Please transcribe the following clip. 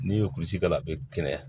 N'i ye kulusi k'a la a bɛ kɛnɛya